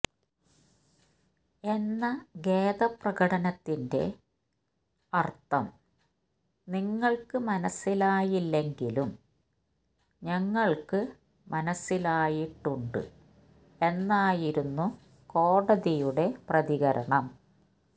എന്ന ഖേദപ്രകടനത്തിന്റെ അര്ത്ഥം നിങ്ങള്ക്ക് മനസിലായില്ലെങ്കിലും ഞങ്ങള്ക്ക് മനസിലായിട്ടുണ്ട് എന്നായിരുന്നു കോടതിയുടെ പ്രതികരണം